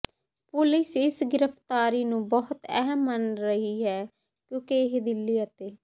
police ਇਸ ਗ੍ਰਿਫ਼ਤਾਰੀ ਨੂੰ ਬਹੁਤ ਅਹਿਮ ਮੰਨ ਰਹੀ ਹੈ ਕਿਉਂਕਿ ਇਹ ਦਿੱਲੀ ਅਤੇ